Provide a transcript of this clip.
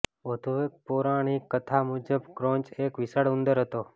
વધુ એક પૌરાણિક કથા મુજબ ક્રોંચ એક વિશાળ ઉંદર હતો